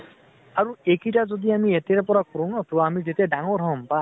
আৰু এইকেইতা যদি আমি এতিয়াৰ পৰা কৰো ন, তʼ আমি যেতিয়া ডাঙৰ হʼম বা